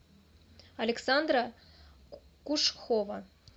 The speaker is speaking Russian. александра кушхова